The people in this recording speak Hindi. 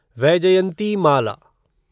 वैजयंतिमाला